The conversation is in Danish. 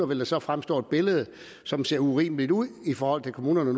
vil der så fremstå et billede som ser urimeligt ud i forhold til kommunerne